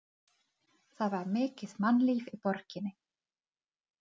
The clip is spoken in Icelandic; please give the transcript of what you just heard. Það var mikið mannlíf í borginni.